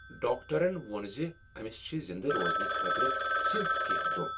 ڈاکٹرن ووٚن ز أمس چھ زندٕ روزنہٕ خٲطرٕ صرف کینٛہہ دۄہ ۔